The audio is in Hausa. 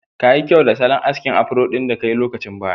Kayi kyau da salon askin afro ɗin da kai lokacin baya.